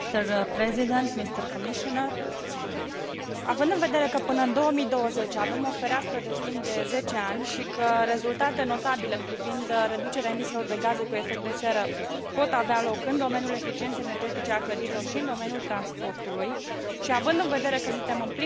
Având în vedere că până în 2020 avem o fereastră de timp de 10 ani și că rezultate notabile privind reducerea emisiilor de gaze cu efect de seră pot avea loc în domeniul eficienței energetice a clădirilor și în domeniul transportului și, având în vedere că suntem în plină criză economică și că oamenii își pierd locurile de muncă,